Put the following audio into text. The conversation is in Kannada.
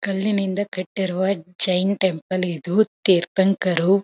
ಕಲ್ಲಿನಿಂದ ಕಟ್ಟಿರುವ ಜೈನ ಟೆಂಪಲ್ ಇದು ತೀರ್ಥಂಕರು--